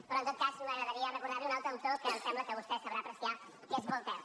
però en tot cas m’agradaria recordar li un altre autor que em sembla que vostè sabrà apreciar que és voltaire